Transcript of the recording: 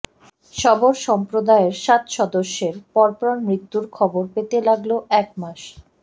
শবর সম্প্রদায়ের সাত সদস্যের পরপর মৃত্যুর খবর পেতে লাগল এক মাস